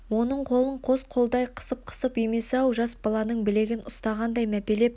оның қолын қос қолдай қысып қысып емес-ау жас баланың білегін ұстағандай мәпелеп